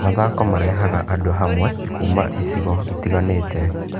Mathako marehaga andũ hamwe kuuma icigo itiganĩte.